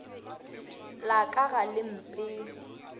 la ka ga le mpee